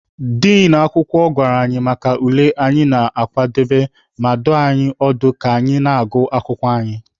Din akwụkwọ gwara anyị maka ule anyị na-akpụdebe, ma dụọ anyị ọdụ ka anyị na-agụ akwụkwọ anyị.